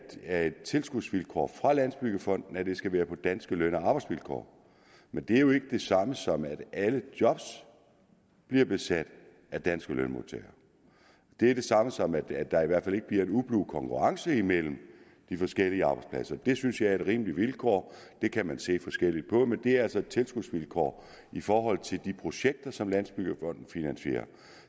er et tilskudsvilkår fra landsbyggefonden at det skal være på danske løn og arbejdsvilkår men det er jo ikke det samme som at alle job bliver besat af danske lønmodtagere det er det samme som at der i hvert fald ikke bliver en ublu konkurrence imellem de forskellige arbejdspladser det synes jeg er et rimeligt vilkår det kan man se forskelligt på men det er altså et tilskudsvilkår i forhold til de projekter som landsbyggefonden finansierer